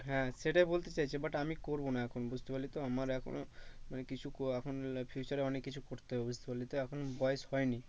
হ্যাঁ সেটাই বলতে চাইছে but আমি করবো না এখন বুঝতে পারলি তো আমার এখন মানে কিছু এখন future এ অনেক কিছু করতে হবে বুঝতে পারলি তো এখন বয়স হয়নি।